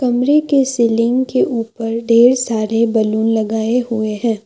कमरे के सीलिंग के ऊपर ढेर सारे बैलून लगाए हुए हैं।